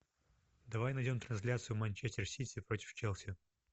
давай найдем трансляцию манчестер сити против челси